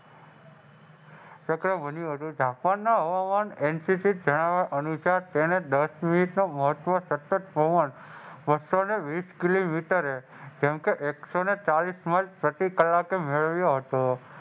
ચક્ર બન્યું હતું. જાપાનના હવામાન અનુસાર તેને દસ